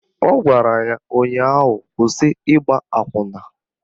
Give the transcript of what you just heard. Ọ gwara ya ụnyaahụ "Kwụsị ịgba akwụna"!